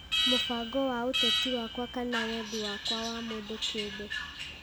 mũbango wa ũteti wakwa kana wendi wakwa wa mũndũ kĩũmbe;